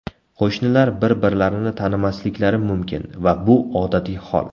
Qo‘shnilar bir-birlarini tanimasliklari mumkin va bu odatiy hol.